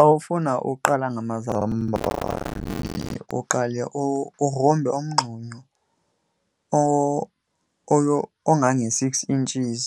Xa ufuna uqala ngamazambane uqale ugrumbe umngxunya ongange-six inches